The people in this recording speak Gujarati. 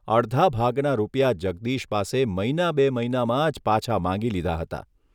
અડધા ભાગના રૂપિયા જગદીશ પાસે મહિના બે મહિનામાં જ પાછા માંગી લીધા હતા.